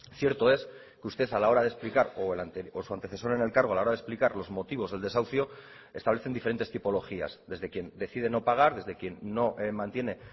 cierto es que usted a la hora de explicar o su antecesor en el cargo a la hora de explicar los motivos del desahucio establecen diferentes tipologías desde quien decide no pagar desde quien no mantiene